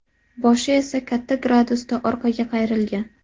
Boshi esa katta gradusda orqaga qayrilgan.